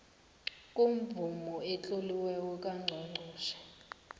kwemvumo etloliweko kangqongqotjhe